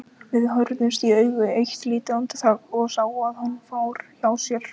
Við horfðumst í augu eitt lítið andartak, ég sá að hann fór hjá sér.